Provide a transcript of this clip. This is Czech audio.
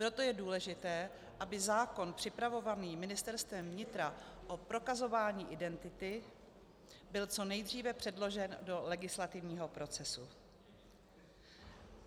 Proto je důležité, aby zákon připravovaný Ministerstvem vnitra o prokazování identity byl co nejdříve předložen do legislativního procesu.